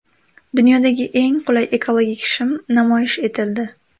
Dunyodagi eng qulay ekologik shim namoyish etildi.